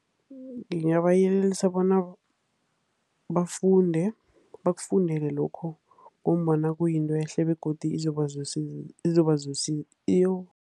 Ngingabayelelisa bona bafunde, bakufundele lokhu. Ngombana kuyinto ehle begodu izoba